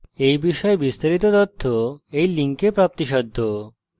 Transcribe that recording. এই বিষয়ে বিস্তারিত তথ্য এই লিঙ্কে প্রাপ্তিসাধ্য http:// spokentutorial org/nmeictintro